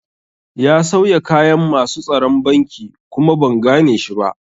Ya sauya kayan masu tsaron banki kuma ban gane shi ba